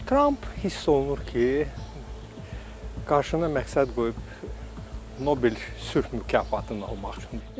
Tramp hiss olunur ki, qarşısına məqsəd qoyub Nobel sülh mükafatını almaq üçün.